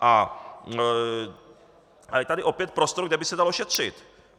A je tady opět prostor, kde by se dalo šetřit.